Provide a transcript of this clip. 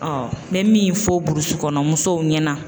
me min fɔ burusi kɔnɔ musow ɲɛna